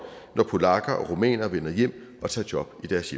når polakker og rumænere vender hjem og tager job i deres